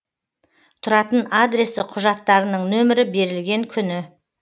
тұратын адресі құжаттарының нөмірі берілген күні